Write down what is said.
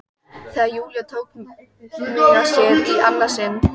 Þegar Júlía tók mig að sér í annað sinn.